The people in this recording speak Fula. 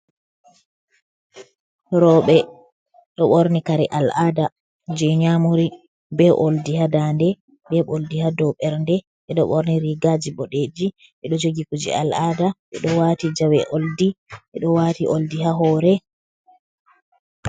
Rooɓe ɗo ɓorni kare al'ada je nyamuri, be oldi ha dande, be oldi ha dow ɓernde, ɓe ɗo ɓorni rigaji boɗeji, ɓe ɗo jogi kuje al'ada ɓe ɗo wati jawe oldi, ɓe ɗo wati oldi ha hore.